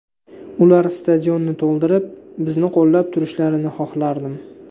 Ular stadionni to‘ldirib, bizni qo‘llab turishlarini xohlardim.